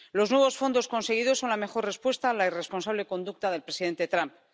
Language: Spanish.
Los nuevos fondos conseguidos son la mejor respuesta a la irresponsable conducta del presidente Trump.